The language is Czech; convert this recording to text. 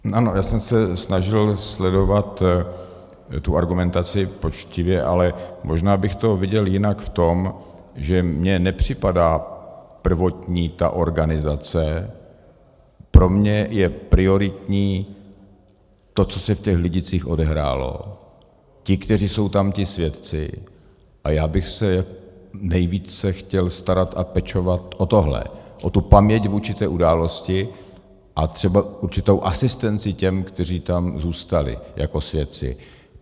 Ano, já jsem se snažil sledovat tu argumentaci poctivě, ale možná bych to viděl jinak v tom, že mně nepřipadá prvotní ta organizace, pro mě je prioritní to, co se v těch Lidicích odehrálo, ti, kteří jsou tam ti svědci, a já bych se nejvíce chtěl starat a pečovat o tohle, o tu paměť vůči té události a třeba určitou asistenci těm, kteří tam zůstali jako svědci.